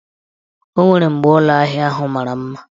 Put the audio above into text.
O nwere mgbe ụlọahịa ahụ mara mma.